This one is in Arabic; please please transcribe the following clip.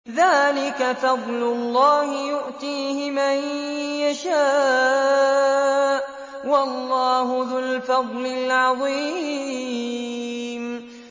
ذَٰلِكَ فَضْلُ اللَّهِ يُؤْتِيهِ مَن يَشَاءُ ۚ وَاللَّهُ ذُو الْفَضْلِ الْعَظِيمِ